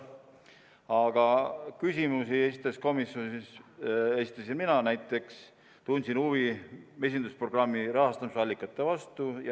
Aga küsimusi esitasin komisjonis näiteks mina, tundsin huvi mesindusprogrammi rahastamisallikate vastu.